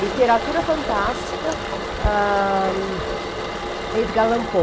Literatura fantástica, Edgar Allan Poe.